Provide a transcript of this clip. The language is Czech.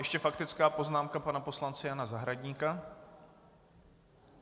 Ještě faktická poznámka pana poslance Jana Zahradníka.